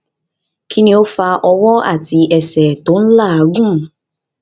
kini o fa ọwọ ati ẹsẹ ti o lagun